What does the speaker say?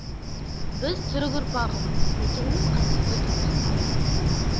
біз түрік ұрпағымыз мекеніміз қасиетті түркістан